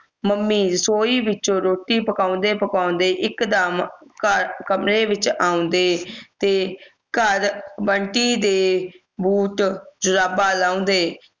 mummy ਰਸੋਈ ਵਿਚੋਂ ਰੋਟੀ ਪਕਾਉਂਦੇ ਪਕਾਉਂਦੇ ਇੱਕ ਦਮ ਕਮ ਕਮਰੇ ਵਿੱਚ ਆਉਂਦੇ ਤੇ ਘਰ ਬੰਟੀ ਦੇ ਬੂਟ ਜਰਾਬਾ ਲਾਉਦੇ